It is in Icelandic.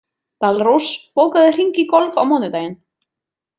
Dalrós, bókaðu hring í golf á mánudaginn.